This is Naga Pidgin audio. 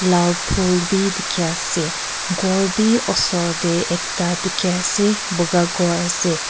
lal phul bi dikhi ase khor bi osor tae ekta dikhiase buka khor ase.